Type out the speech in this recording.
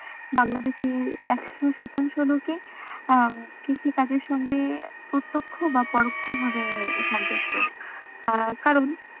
বাংলা দেশের একশো শতাংশ লোকে আহ কৃষি কাজের সঙ্গে প্রতক্ষ বা পরক্ষভাবে সম্পর্কিত আহ কারন,